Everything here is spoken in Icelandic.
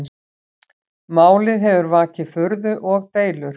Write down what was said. Málið hefur vakið furðu og deilur